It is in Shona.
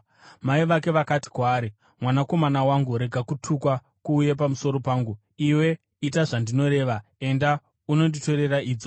Mai vake vakati kwaari, “Mwanakomana wangu, rega kutukwa kuuye pamusoro pangu. Iwe ita zvandinoreva; enda unonditorera idzo.”